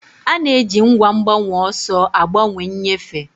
A na-eji ngwa mgbanweọsọ a gbanwee nnyefe.